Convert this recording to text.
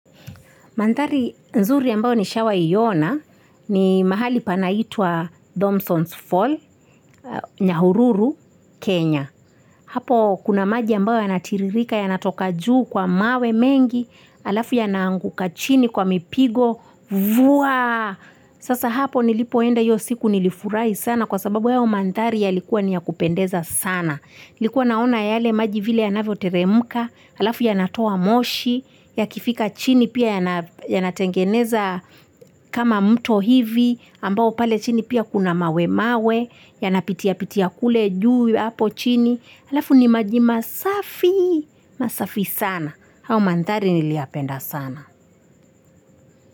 Mandari nzuri ambayo nishawai ona ni mahali panaitwa Thompsons Fall, Nyahururu, Kenya. Hapo kuna maji ambayo yanatiririka yanatoka juu kwa mawe mengi, halafu yanaanguka chini kwa mipigo, vuaa! Sasa hapo nilipoenda hiyo siku nilifurahi sana kwa sababu hayo mandhari yalikuwa ni ya kupendeza sana. Nilikuwa naona yale maji vile yanavyo teremka, halafu yanatoa moshi, yakifika chini pia yanatengeneza kama mto hivi, ambao pale chini pia kuna mawe mawe, yanapitia pitia kule juu hapo chini, halafu ni maji masafi, masafi sana, hayo mandhari niliyapenda sana.